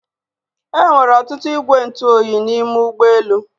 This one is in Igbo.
Enwere ọtụtụ igwe ntụ oyi n'ime ụgbọ elu